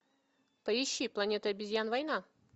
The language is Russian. поищи планета обезьян война